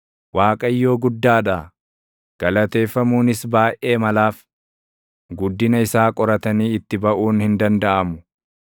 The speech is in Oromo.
Waaqayyo guddaa dha; galateeffamuunis baayʼee malaaf; guddina isaa qoratanii itti baʼuun hin dandaʼamu.